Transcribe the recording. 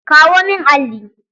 Kawo min alli!